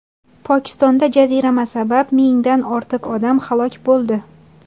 Pokistonda jazirama sabab mingdan ortiq odam halok bo‘ldi.